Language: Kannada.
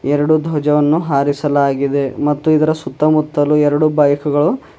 ಎರಡು ದ್ವಜವನ್ನು ಹಾರಿಸಲಾಗಿದೆ ಮತ್ತು ಇದರ ಸುತ್ತ ಮುತ್ತಲೂ ಎರುಡು ಬೈಕ್ ಗಳು--